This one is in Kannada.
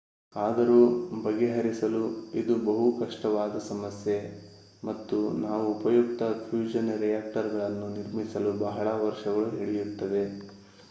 ಆದರೂ ಬಗೆಹರಿಸಲು ಇದು ಬಹು ಕಷ್ಟವಾದ ಸಮಸ್ಯೆ ಮತ್ತು ನಾವು ಉಪಯುಕ್ತ ಫ್ಯೂಷನ್ ರಿಯಾಕ್ಟರ್ಗಳನ್ನು ನಿರ್ಮಿಸಲು ಬಹಳ ವರ್ಷಗಳು ಹಿಡಿಯುತ್ತವೆ